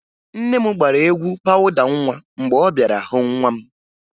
Nne m gbara egwu pawụda nwa mgbe ọ bịara hụ nwa m